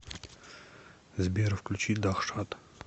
сбер включи дахшат